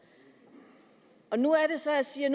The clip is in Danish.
nu er det så jeg siger